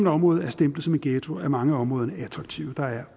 område er stemplet som en ghetto er mange af områderne attraktive der